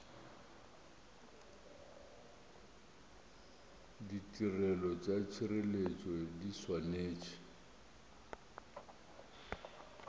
ditirelo tša tšhireletšo di swanetše